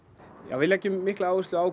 við leggjum mikla áherslu á